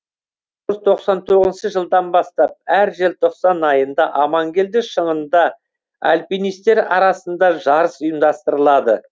тоқсан тоғызыншы жылдан бастап әр желтоқсан айында амангелді шыңында альпинистер арасында жарыс ұйымдастырылады